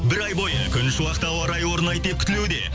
бір ай бойы күншуақты ауа райы орнайды деп күтілуде